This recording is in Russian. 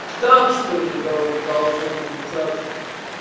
так что ли дол должно получаться